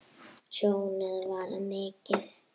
Tjónið varð mikið.